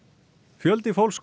fjöldi fólks